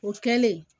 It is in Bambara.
O kɛlen